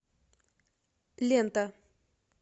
лента